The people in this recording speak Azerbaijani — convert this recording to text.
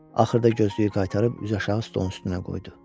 Axırda gözlüyü qaytarıb üzüaşağı stolun üstünə qoydu.